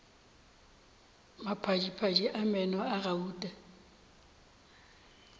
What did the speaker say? maphadiphadi a meno a gauta